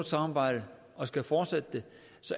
samarbejde og skal fortsætte det